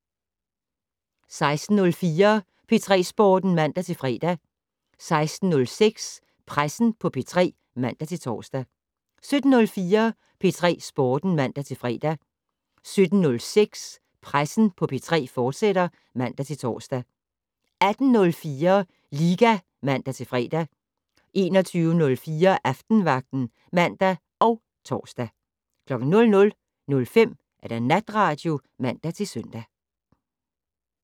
16:04: P3 Sporten (man-fre) 16:06: Pressen på P3 (man-tor) 17:04: P3 Sporten (man-fre) 17:06: Pressen på P3, fortsat (man-tor) 18:04: Liga (man-fre) 21:03: Aftenvagten (man og tor) 00:05: Natradio (man-søn)